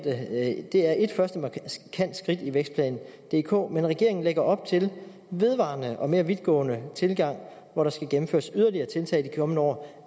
at det er et første markant skridt i vækstplan dk men regeringen lægger op til en vedvarende og mere vidtgående tilgang hvor der skal gennemføres yderligere tiltag i de kommende år